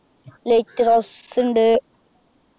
light rose ഉണ്ട്